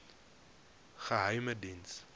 geheimediens